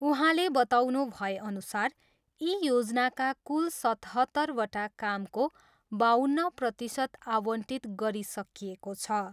उहाँले बताउनु भएअनुसार यी योजनाका कुल सतहत्तरवटा कामको बाउन्न प्रतिशत आवन्टित गरिसकिएको छ।